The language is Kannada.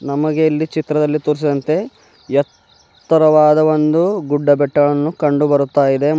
ನಮಗೆ ಇಲ್ಲಿ ಚಿತ್ರದಲ್ಲಿ ತೋರಿಸಿದಂತೆ ಎತ್ತರವಾದ ಒಂದು ಗುಡ್ಡ ಬೆಟ್ಟವನ್ನು ಕಂಡುಬರುತಾಯಿದೆ ಮ --